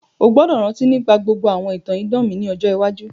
O gbọ́dọ̀ rántí nígbà gbogbo àwọn ìtàn idán mi ni ọjọ iwájú.